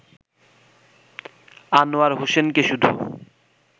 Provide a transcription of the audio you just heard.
আনোয়ার হোসেনকে শুধু